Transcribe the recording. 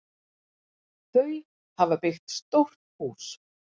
Þau hafa byggt stórt hús.